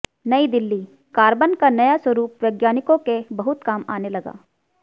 New Delhi carbon का नया स्वरुप वैज्ञानिकों के बहुत काम आने लगा